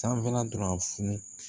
Sanfɛla dɔrɔn a funu